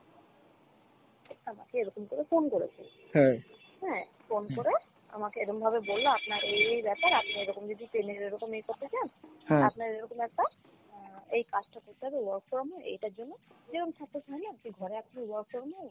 আমাকে এরকম করে phone করেছে হ্যাঁ phone করে আমাকে এরম ভাবে বললো আপনার এই এই ব্যাপার আপনি এরকম যদি Payoneer এরোকম ই করতে চান আপনার এরোকম একটা এর এই কাজটা করতে হবে work from home এটার জন্য ঘরে আপনি work from home.